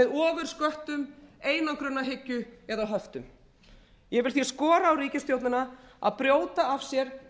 ofursköttum einangrunarhyggju og höftum ég vil því skora á ríkisstjórnina að brjóta af sér